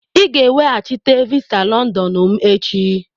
Ị ga-eweghachite visa Londonu m echi!